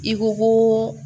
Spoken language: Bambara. I ko koo